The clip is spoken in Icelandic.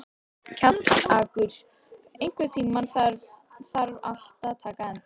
Kjallakur, einhvern tímann þarf allt að taka enda.